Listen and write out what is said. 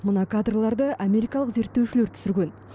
мына кадрларды америкалық зерттеушілер түсірген